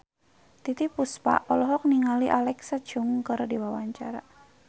Titiek Puspa olohok ningali Alexa Chung keur diwawancara